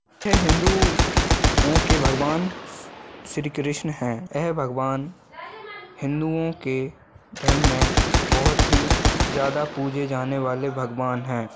यह हिंदुओं के भगवान श्री कृष्णा है यह भगवान हिंदुओं के धर्म मे बहुत ही ज़्यादा पूजे जाने वाले भगवान हैं।